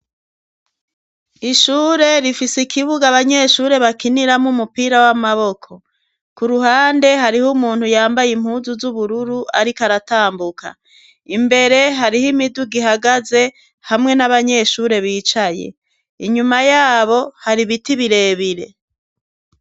Ishure rifise ikibuga abanyeshure bakiniramwo umupira w'amaboko. Ku ruhande hariho umuntu yambaye impuzu z'ubururu ariko aratambuka. Imbere hariho imiduga ihagaze hamwe n'abanyeshure bicaye inyuma yabo hari biti birebire.